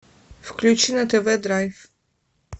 включи на тв драйв